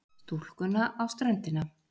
Stúlkuna á ströndinni.